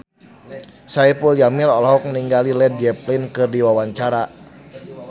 Saipul Jamil olohok ningali Led Zeppelin keur diwawancara